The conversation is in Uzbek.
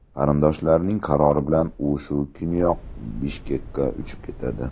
Qarindoshlarining qarori bilan u shu kuniyoq Bishkekka uchib ketadi.